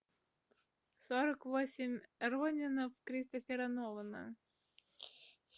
сорок восемь ронинов кристофера нолана